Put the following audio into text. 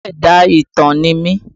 Olú ẹ̀dá ìtàn ni mí